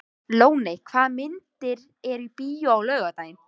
Ljóney, hvaða myndir eru í bíó á laugardaginn?